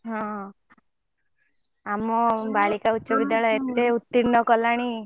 ହଁ ଆମ ବାଳିକା ଉଚ ବିଦ୍ୟାଳୟ ଏତେ ଉତ୍ତିର୍ଣ କଲାଣି।